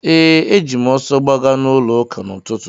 Ee, eji m ọsọ gbaga n'ụlọụka n’ụtụtụ.